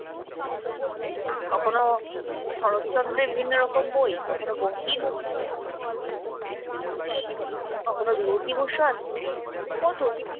কখনো শরৎচন্দ্রের বিভিন্ন রকম বই, কখনো বঙ্কিম কখনো বিভূতিভূষণ, কত কি!